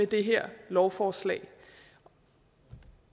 det her lovforslag